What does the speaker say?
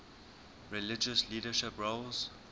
religious leadership roles